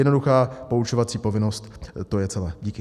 Jednoduchá poučovací povinnost - to je celé díky.